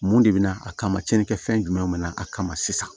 Mun de bɛ na a kama cɛnni kɛ fɛn jumɛn nana a kama sisan